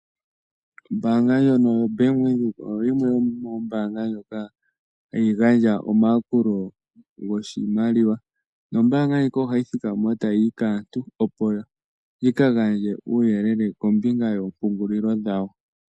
Ombaanga ndjono yo Bank Windhoek oyo yimwe yomoombaanga dhoka hadhi gandja omayakulo goshimaliwa. Nombaanga ndjika oyina aaniilonga haya talelepo aantu, opo yagandje uuyelele kombinga yoompungulilo dhombaanga ndjoka.